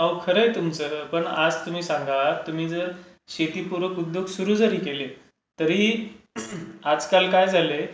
अहो, खरंय तुमचं. पण आज तुम्ही सांगा तुम्ही जरी शेतीपूरक उद्योग सुरू जरी केले तरीही आजकाल काय झालंय